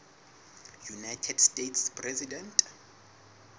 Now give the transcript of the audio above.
united states president